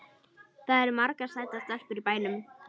Það eru margar sætar stelpur í bænum.